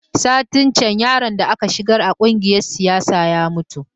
Satin can yaron da aka shigar a kungiyar siyasa ya mutu